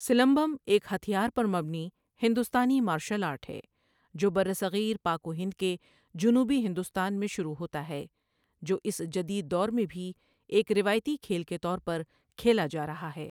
سلمبم ایک ہتھیار پر مبنی ہندوستانی مارشل آرٹ ہے جو برصغیر پاک و ہند کے جنوبی ہندوستان میں شروع ہوتا ہے جو اس جدید دور میں بھی ایک روایتی کھیل کے طور پر کھیلا جا رہا ہے۔